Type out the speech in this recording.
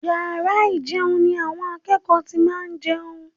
Yàrá ìjẹun ni àwọn akẹ́kọ̀ọ́ ti máa ń jẹun